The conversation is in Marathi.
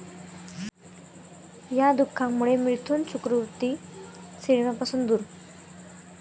या' दुखण्यामुळे मिथुन चक्रवर्ती सिनेमापासून दूर!